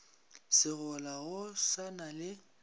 segola go sa na le